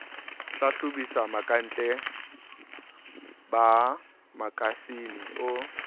hlahlobisisa bokantle ba makasine o